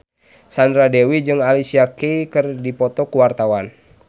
Sandra Dewi jeung Alicia Keys keur dipoto ku wartawan